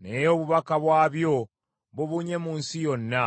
Naye obubaka bwabyo bubunye mu nsi yonna.